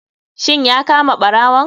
Shin ya kama barawon?